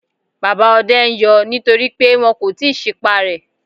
Bàbá ọdẹ ń yọ nítorí pé wọn kò tíì sí pá rẹ.